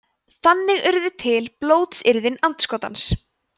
þannig urðu til blótsyrðin andskotans